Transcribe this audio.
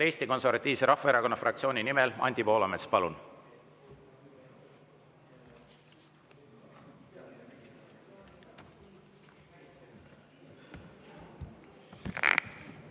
Eesti Konservatiivse Rahvaerakonna fraktsiooni nimel Anti Poolamets, palun!